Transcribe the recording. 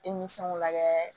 lagɛ